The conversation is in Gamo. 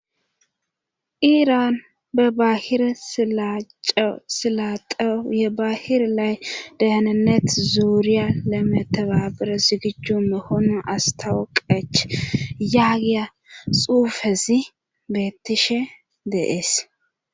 iraan be bahir silace silaaqeo ye baahir lay deyananet zuuriya le meteba bires gichjumme hono astawo qech yaagiya xuufezi beettishe de'ees